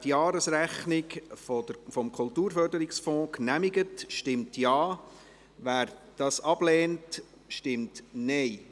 Wer die Jahresrechnung des Kulturförderungsfonds genehmigt, stimmt Ja, wer dies ablehnt, stimmt Nein.